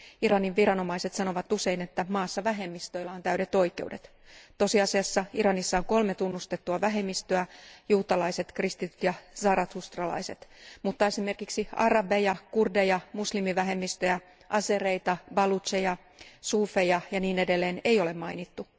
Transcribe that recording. Iranin viranomaiset sanovat usein, että maassa vähemmistöillä on täydet oikeudet. Tosiasiassa Iranissa on kolme tunnustettua vähemmistöä, juutalaiset, kristityt ja zarathustralaiset, mutta esimerkiksi arabeja, kurdeja, muslimivähemmistöjä, azereita, balucheja, suufeja ja niin edelleen ei ole mainittu.